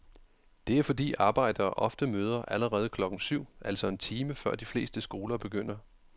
Det er fordi arbejdere ofte møder allerede klokken syv, altså en time før de fleste skoler begynder.